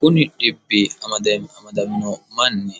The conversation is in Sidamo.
kuni dhibbi amadamino manni